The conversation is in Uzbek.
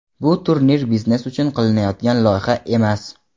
Bu turnir biznes uchun qilinayotgan loyiha emas.